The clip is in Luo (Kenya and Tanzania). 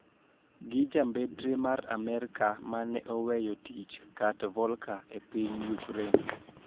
Gi jambetre mar Amerka mane oweyo tich Kurt Volker e piny Ukraine